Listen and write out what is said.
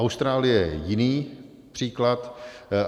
Austrálie je jiný příklad.